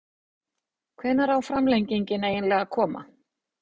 Hvenær á framlengingin eiginlega að koma??